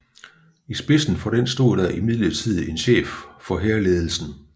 I spidsen for den stod der imidlertid en chef for hærledelsen